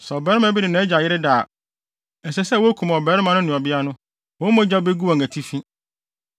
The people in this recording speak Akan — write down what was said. “ ‘Sɛ ɔbarima bi ne nʼagya yere da a, ɛsɛ sɛ wokum ɔbarima no ne ɔbea no, wɔn mogya begu wɔn atifi.